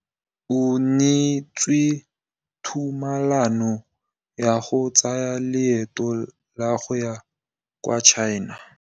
O neetswe tumalanô ya go tsaya loetô la go ya kwa China.